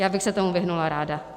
Já bych se tomu vyhnula ráda.